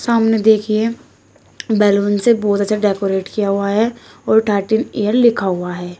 सामने देखिए बैलून्स से बोहोत अच्छा डेकोरेट किया हुआ है और थर्टीन इयर लिखा हुआ है।